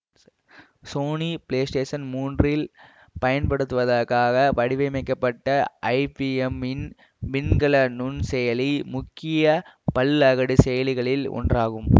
Sony PlayStation மூன்றில் பயன்படுத்துவதற்காக வடிவமைக்கப்பட்ட ஐபிஎம் மின் மின்கல நுண்செயலி முக்கிய பல்அகடு செயலிகளில் ஒன்றாகும்